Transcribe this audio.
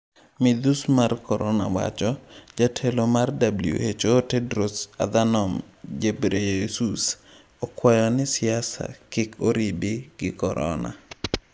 Midhus mar Corona: Jatelo mar WHO Tedros Adhanom Ghebreyesus okwayo ni siasa kik oribi gi korona